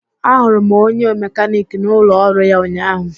Ahụrụ m onye mekaniki n'ụlọ ọrụ ya ụnyahụ